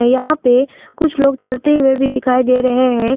यहां पे कुछ लोग चलते हुए भी दिखाई दे रहे हैं।